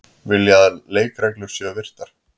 Vilja að leikreglur séu virtar